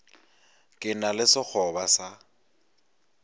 ke na le sekgoba sa